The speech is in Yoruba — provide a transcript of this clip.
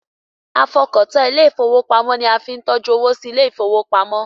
A fọkàn tán ilé ìfowópamọ́ ni a fi ń tọ́jú owó sí ilé ìfowópamọ́.